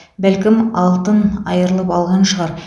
бәлкім алтын айырып алған шығар